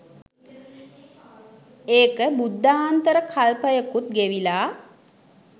එක බුද්ධාන්තර කල්පයකුත් ගෙවිලා